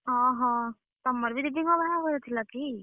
ଅହଃ, ତମର ବି ଦିଦି ଙ୍କର ବାହାଘର ଥିଲା କି?